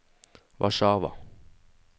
Warszawa